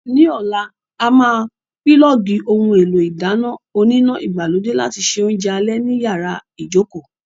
Ní ọ̀la, a máa pílọ̀ọ̀gì ohun èlò ìdáná oníná ìgbàlódé láti se oúnjẹ alẹ́ ní yàrá ìjókòó!